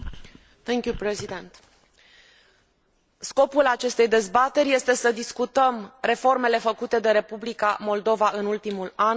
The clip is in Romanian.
Scopul acestei dezbateri este să discutăm reformele făcute de Republica Moldova în ultimul an și progresul pe drumul integrării europene.